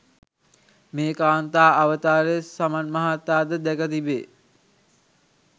මේ කාන්තා අවතාරය සමන් මහතා ද දැක තිබේ.